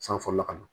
San fɔlɔla ka na